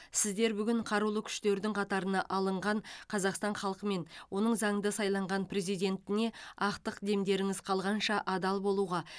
сіздер бүгін қарулы күштердің қатарына алынған қазақстан халқы мен оның заңды сайланған президентіне ақтық демдеріңіз қалғанша адал болуға